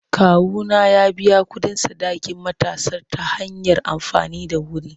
Kawuna ya biya kuɗin sadakin matarsa ​​ta hanyar amfani da wuri.